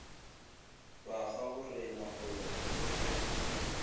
ba gaborena go ya phokotšong